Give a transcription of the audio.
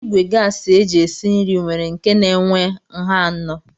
Ìgwè gasi eji esi nri nwere nke na-enwe nha anọ.